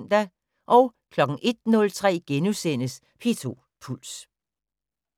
01:03: P2 Puls *